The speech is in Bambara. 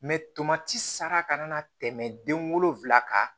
tomati sara kana tɛmɛ den wolonfila kan